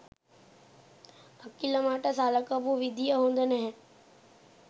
අකිල මට සලකපු විදිහ හොඳ නැහැ.